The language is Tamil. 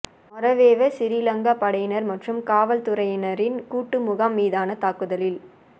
மொறவேவ சிறிலங்கா படையினர் மற்றும் காவல்துறையினரின் கூட்டு முகாம் மீதான தாக்குதலில்